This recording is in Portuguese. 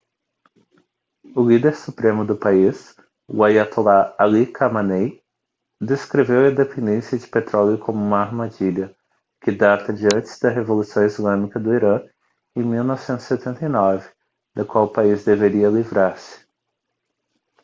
o líder supremo do país o aiatolá ali khamenei descreveu a dependência de petróleo como uma armadilha que data de antes da revolução islâmica do irã em 1979 da qual o país deveria livrar-se